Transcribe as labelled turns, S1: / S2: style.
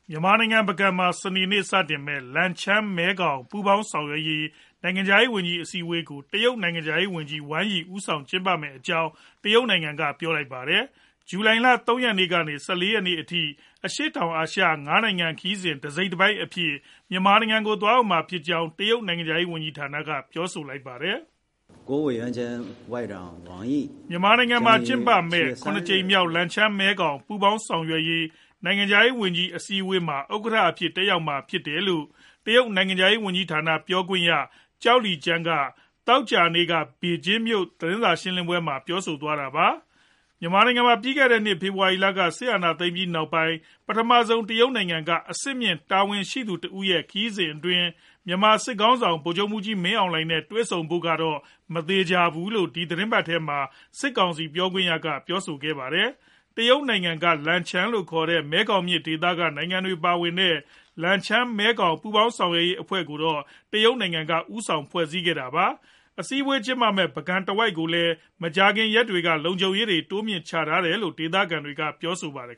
S1: မြန်မာနိုင်ငံ ပုဂံမှာ စနေနေ့စတင်မယ့် လန်ချန်း-မဲခေါင် ပူးပေါင်းဆောင်ရွက်ရေး နိုင်ငံခြားရေးဝန်ကြီး အစည်းအဝေးကို တရုတ်နိုင်ငံခြားရေးဝန်ကြီး Wang Yi ဦးဆောင်ကျင်းပမယ့်အကြောင်း တရုတ်နိုင်ငံက ပြောလိုက်ပါတယ်။ ဇူလိုင်လ ၃ ရက်နေ့ကနေ ၁၄ ရက်နေ့အထိ အရှေ့တောင်အာရှ ၅ နိုင်ငံ ခရီးစဉ်တစိတ်တပိုင်းအဖြစ် မြန်မာနိုင်ငံကို သွားရောက်မှာဖြစ်ကြောင်း တရုတ်နိုင်ငံခြားရေးဝန်ကြီးဌာနက ပြောဆိုလိုက်တာပါ။
S2: “မြန်
S1: မာနိုင်ငံမှာ ကျင်းပမယ့် ၇ ကြိမ်မြောက် လန်ချန်း-မဲခေါင် ပူးပေါင်းဆောင်ရွက်ရေး နိုင်ငံခြားရေးဝန်ကြီး အစည်းအဝေးမှာ Wang Yi က ဥက္ကဋ္ဌအဖြစ် တက်ရောက်မှာ ဖြစ်ပါတယ်။” လို့ တရုတ်နိုင်ငံခြားရေးဝန်ကြီးဌာန ပြောခွင့်ရ Zhao Lijian က သောကြာနေ့ ဘေဂျင်းမြို့တော်က သတင်းစာရှင်းလင်းပွဲမှာ ပြောဆိုသွားတာပါ။ မြန်မာနိုင်ငံမှာ ပြီးခဲ့တဲ့နှစ် ဖေဖော်ဝါရီလက စစ်အာဏာသိမ်းပြီးနောက်ပိုင်း ပထမဆုံး တရုတ်နိုင်ငံက အဆင့်မြင့်တာဝန်ရှိသူ တဦးရဲ့ ခရီးစဉ်အတွင်း မြန်မာစစ်ခေါင်းဆောင် ဗိုလ်ချုပ်မှူးကြီး မင်းအောင်လှိုင်နဲ့ တွေ့ဆုံဖို့ မသေချာဘူးလို့လည်း ဒီသီတင်းပတ်ထဲမှာပဲ စစ်ကောင်စီပြောခွင့်ရက ပြောဆိုထားပါတယ်။ တရုတ်နိုင်ငံက လန်ချန်းလို့ခေါ်တဲ့ မဲခေါင်မြစ် ဒေသက နိုင်ငံတွေ ပါဝင်တဲ့ လန်ချန်း-မဲခေါင် ပူးပေါင်းဆောင်ရွက်ရေး အဖွဲ့ကိုတော့ တရုတ်နိုင်ငံက ဦးဆောင်ဖွဲ့စည်းထားတာပါ။ အစည်းအဝေးပွဲ ကျင်းပမယ့် ပုဂံဒေသတဝိုက်ကိုတော့ မကြာသေးခင် ရက်တွေကပဲ လုံခြုံရေးတွေ တိုးမြှင့်ထားတယ်လို့လည်း ဒေသခံတွေက ပြောပါတယ်